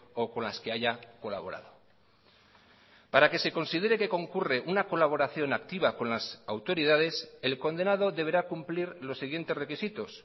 o con las que haya colaborado para que se considere que concurre una colaboración activa con las autoridades el condenado deberá cumplir los siguientes requisitos